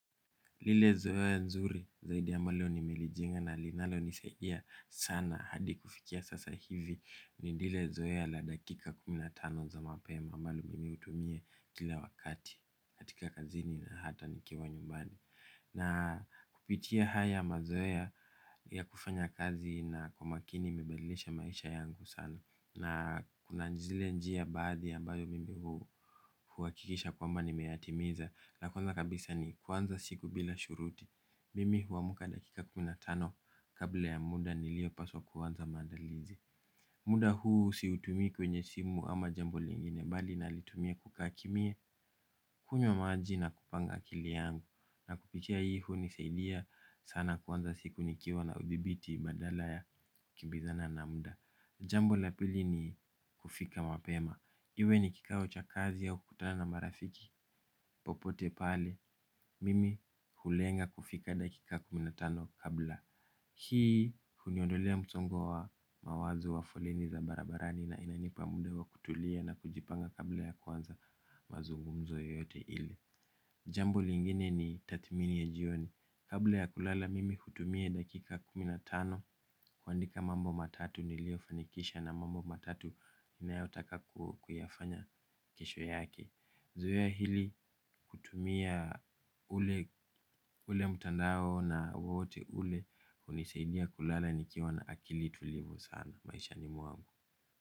Ile zoea nzuri zaidi ambalo nimelijenga linalonisaidia sana hadi kufikia sasa hivi ni zile zoea za dakika kumi na tano za mapema ambalo miutumia kila wakati katika kazini na hata nikiwa nyumbani. Na kupitia haya mazoea ya kufanya kazi na kumakini mibadilisha maisha yangu sana. Na kuna njile njia baadhi ya bayo mimi huakikisha kwamba ni meatimiza. La kwanza kabisa ni kwanza siku bila shuruti. Mimi huamuka dakika kuminatano kabla ya muda nilio paswa kwanza mandalizi. Muda huu siutumii kwenye simu ama jambo lingine. Bali nalitumia kukakimya kunywa maaji na kupanga akili yangu. Na kupikia hii hunisaidia sana kwanza siku nikiwa na udibiti madala ya kimbizana na muda. Jambo lapili ni kufika mapema. Iwe ni kikao cha kazi au kutana na marafiki popote pale. Mimi hulenga kufika dakika kumi na tano kabla hii kuniondolea mtongo wa mawazo wa foleni za barabarani na inanipa mde wa kutulia na kujipanga kabla ya kuanza mazungumzo yote ile. Jambo lingine ni tathimini ya jioni. Kabla ya kulala mimi kutumia dakika kuminatano. Kuandika mambo matatu nilio fanikisha na mambo matatu inayotaka kuyafanya kesho yake. Zoea hili kutumia ule mutandao na wote ule. Unisaidia kulala nikiwa na akili tulivu sana. Maisha ni mwangu.